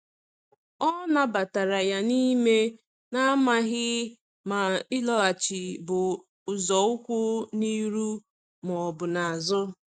O nabatara ya n’ime, na-amaghị ma ịlọghachi bụ nzọụkwụ n’ihu ma ọ bụ n’azụ.